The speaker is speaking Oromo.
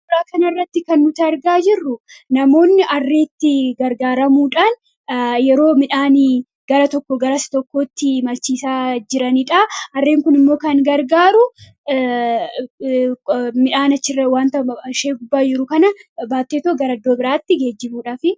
Suuraa kanarratti kan nuti argaa jirru namoonni harreetti gargaaramuudhaan yeroo midhaan gara tokkoo gara isa tokkootti imalchiisaa jiranidha. Harreen kunimmoo kan gargaaru wanta ishee gubbaa jiru kana baattee gara iddoo biraatti geejjibuudhaafi.